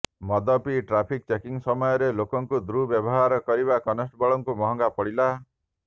ମଦ ପିଇ traffic checking ସମୟରେ ଲୋକଙ୍କୁ ଦୁର୍ବ୍ୟବହାର କରିବା କନେଷ୍ଟବଳଙ୍କୁ ମହଙ୍ଗା ପଡ଼ିଲା